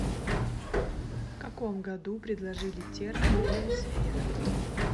в каком году предложили термин биосфера